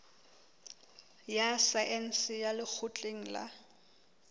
ya saense ya lekgotleng la